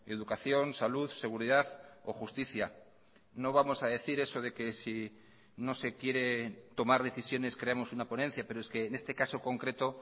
educación salud seguridad o justicia no vamos a decir eso de que si no se quiere tomar decisiones creamos una ponencia pero es que en este caso concreto